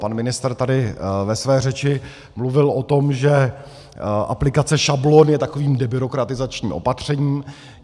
Pan ministr tady ve své řeči mluvil o tom, že aplikace šablon je takovým debyrokratizačním opatřením.